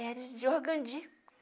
Era de organdi